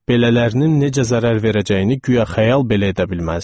Belələrinin necə zərər verəcəyini guya xəyal belə edə bilməzdim.